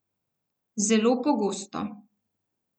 Zelo pogosto!